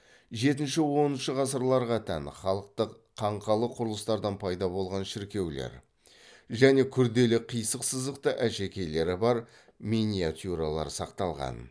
жетінші оныншы ғасырларға тән халықтық қаңқалы құрылыстардан пайда болған шіркеулер және күрделі қисық сызықты әшекейлері бар миниатюралар сақталған